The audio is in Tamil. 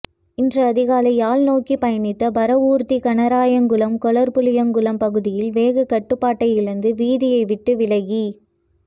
இன்று அதிகாலை யாழ் நோக்கி பயணித்த பாரவூர்தி கனகராயன்குளம் கொல்லர்புளியங்குளம் பகுதியில் வேகக்கட்டுப்பாட்டை இழந்து வீதியை விட்டு விலகி